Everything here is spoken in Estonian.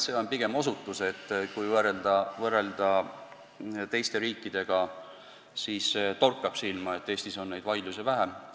See on pigem osutus, et kui võrrelda teiste riikidega, siis torkab silma, et Eestis on neid vaidlusi vähem.